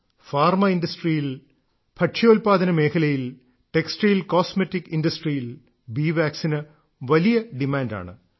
pharma ഇൻഡസ്ട്രിയിൽ ഭക്ഷ്യോല്പാദന മേഖലയിൽ ടെക്സ്റ്റൈൽ കോസ്മറ്റിക് ഇൻഡസ്ട്രിയിലും ബീ വാക്സിന് വലിയ ഡിമാന്റാണ്